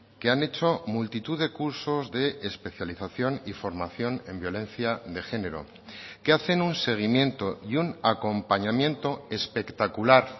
que han hecho multitud de cursos de especialización y formación en violencia de género que hacen un seguimiento y un acompañamiento espectacular